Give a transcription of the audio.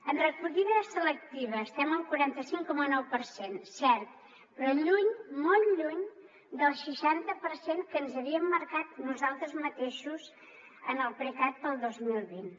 en recollida selectiva estem al quaranta cinc coma nou per cent cert però lluny molt lluny del seixanta per cent que ens havíem marcat nosaltres mateixos en el precat per al dos mil vint